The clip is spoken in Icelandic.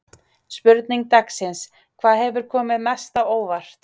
Spurning dagsins: Hvað hefur komið mest á óvart?